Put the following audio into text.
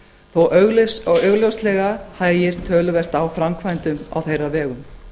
þó augljóslega hægi töluvert á framkvæmdum á þeirra vegum